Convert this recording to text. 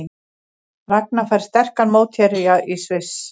Ragna fær sterkan mótherja í Sviss